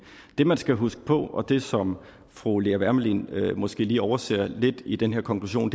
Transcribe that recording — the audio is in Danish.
det man skal huske på og det som fru lea wermelin måske lige overser lidt i den her konklusion